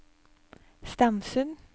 Stamsund